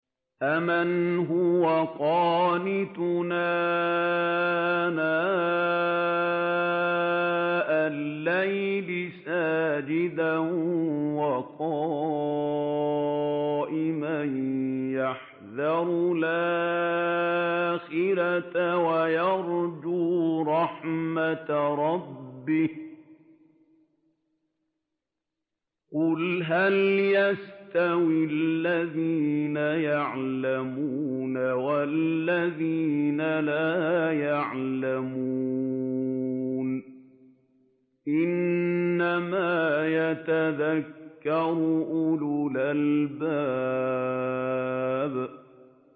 أَمَّنْ هُوَ قَانِتٌ آنَاءَ اللَّيْلِ سَاجِدًا وَقَائِمًا يَحْذَرُ الْآخِرَةَ وَيَرْجُو رَحْمَةَ رَبِّهِ ۗ قُلْ هَلْ يَسْتَوِي الَّذِينَ يَعْلَمُونَ وَالَّذِينَ لَا يَعْلَمُونَ ۗ إِنَّمَا يَتَذَكَّرُ أُولُو الْأَلْبَابِ